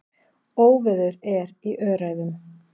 Óveður er í Öræfum.